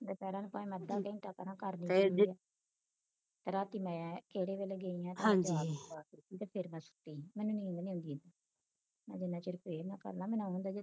ਬੈਠੇ ਰਹਿਣ ਭਾਵੇ ਮੈਂ ਅੱਧਾ ਘੰਟਾ ਕਰਾ ਕਰਦੀ ਰਾਤੀ ਮੈਂ ਕਿਹੜੇ ਵੇਲੇ ਗਈ ਆ ਤੇ ਰਾਤੀ ਫੇਰ ਮੈਂ ਸੁੱਤੀ ਮੈਨੂੰ ਨੀਂਦ ਨੀ ਆਉਦੀ ਮੈਂ ਜਿੰਨਾ ਚਿਰ prayer ਨਾ ਕਰ ਲਾਂਮੈਨਯੁ ਆਉ ਹੁੰਦਾ